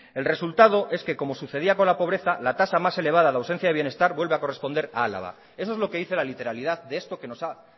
el resultado es que como sucedía con la pobreza la tasa más elevada de ausencia de bienestar vuelve a corresponder a álava eso es lo que dice la literalidad de esto que nos ha